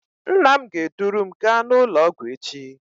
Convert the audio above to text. Nna m ga-eduru m gaa n'ụlọọgwụ echi